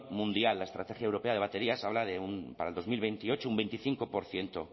mundial la estrategia europea de baterías habla para dos mil veintiocho de un veinticinco por ciento